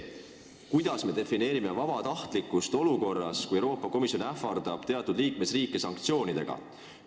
Kuidas me defineerime vabatahtlikkust olukorras, kus Euroopa Komisjon ähvardab teatud liikmesriike sanktsioonidega?